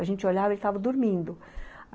A gente olhava e ele estava dormindo.